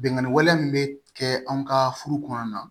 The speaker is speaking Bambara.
Bingani wale min bɛ kɛ anw ka furu kɔnɔna na